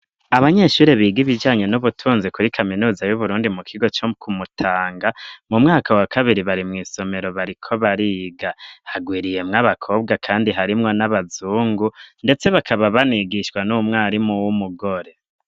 Abanyeshuri biga ibijanye n'ubutunzi kuri kaminuza y'uburundi mu kigo co Kumutanga mu mwaka wa kabiri bari mw'isomero bariko bariga harwiriyemwo abakobwa kandi harimwo n'abazungu ndetse bakaba banigishwa n'umwarimu w'umugore